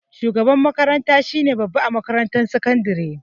Shugaban makaranta shine babba a makarantar sakandare